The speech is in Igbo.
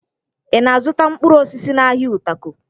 Ị na-azụta mkpụrụ osisi n'ahịa Utako?